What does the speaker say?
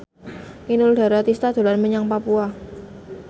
Inul Daratista dolan menyang Papua